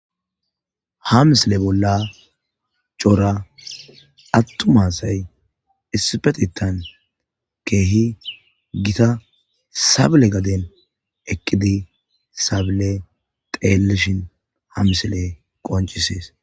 Ha misile bolla cora atuma asayi issipetetan Keehi Gita sabile gadeni eqi sabile xeelishn ha misiley qoncisesi.